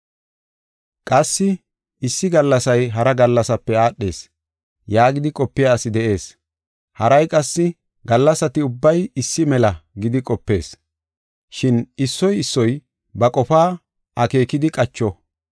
Qassi “Issi gallasay hara gallasape aadhees” yaagidi qopiya asi de7ees. Haray qassi, “Gallasati ubbay issi mela” gidi qopees. Shin issoy issoy ba qofaa akeekidi qacho.